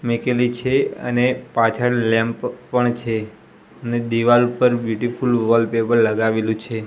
મેકેલી છે અને પાછળ લેમ્પ પણ છે ને દીવાલ પર બ્યુટીફુલ વોલપેપર લગાવેલુ છે.